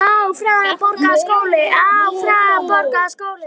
Félagi úr hópi